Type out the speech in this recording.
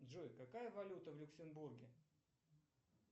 джой какая валюта в люксембурге